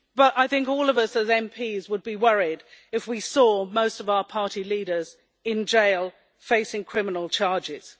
I think all of us, as MPs, would be worried if we saw most of our party leaders in jail, facing criminal charges.